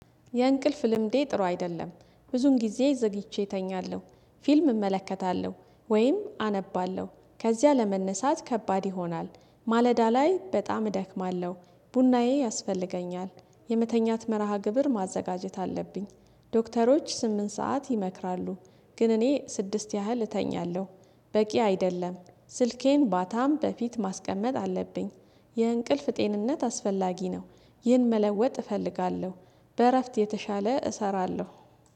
የእንቅልፍ ልምዴ ጥሩ አይደለም ብዙን ጊዜ ዘግይቼ እተኛለሁ። ፊልም እመለከታለሁ ወይም አነባለሁ ከዚያ ለመነሳት ከባድ ይሆናል። ማለዳ ላይ በጣም እደክማለሁ። ቡናዬ ያስፈልገኛል። የመተኛት መርሃ ግብር ማዘጋጀት አለብኝ። ዶክተሮች ስምንት ሰዓት ይመክራሉ። ግን እኔ ስድስት ያህል እተኛለሁ። በቂ አይደለም። ስልኬን ባታም በፊት ማስቀመጥ አለብኝ። የእንቅልፍ ጤንነት አስፈላጊ ነው። ይህን መለወጥ እፈልጋለሁ። በእረፍት የተሻለ እሰራለሁ።